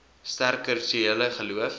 sterk kulturele geloof